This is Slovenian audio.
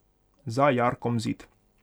Za jarkom zid.